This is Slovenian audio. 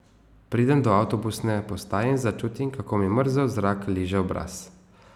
Pridem do avtobusne postaje in začutim, kako mi mrzel zrak liže obraz.